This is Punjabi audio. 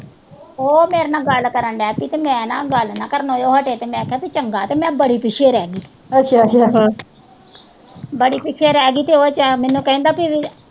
ਉਹ ਮੇਰੇ ਨਾਲ ਗੱਲ ਕਰਨ ਡਹਿ ਪਈ ਤੇ ਮੈਂ ਨਾ, ਗੱਲ ਨਾ ਕਰਨੋ ਉਹ ਹਟੇ ਤੇ ਮੈਂ ਕਿਆ ਚੰਗਾ ਤੇ ਮੈਂ ਬੜੀ ਪਿੱਛੇ ਰਹਿ ਗੀ ਬੜੀ ਪਿੱਛੋ ਰਹਿ ਗੀ ਤੇ ਉਹ ਮੈਨੂੰ ਕਹਿੰਦਾ ਕਿ